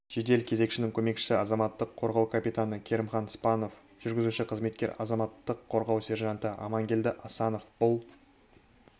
жедел кезекшінің көмекшісі азаматтық қорғау капитаны керімхан спанов жүргізуші-қызметкер азаматтық қорғау сержанты амангелді асанов бұл